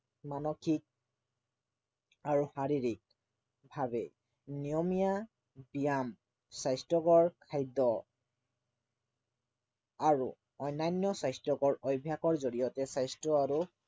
মানসিক আৰু শাৰীৰিকভাৱে নিয়মীয়া ব্য়ায়াম স্বাস্থ্য়কৰ খাদ্য় আৰু অন্য়ান্য় স্বাস্থ্য়কৰ অভ্য়াসৰ জৰিয়তে স্বাস্থ্য় আৰু